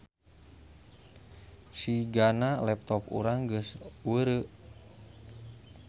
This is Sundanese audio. Sigana laptop urang geus weureu